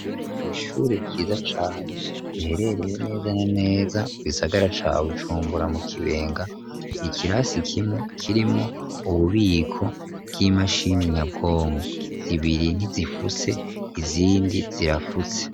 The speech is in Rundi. Kw 'ishure ciza cane, riherereye neza neza mu gisagara ca Bujumbura, mu kibenga, ikirasi kimwe kirimwo ububiko bw'imashini, nyabwongo zibiri ntizifuse izindi zirafutse.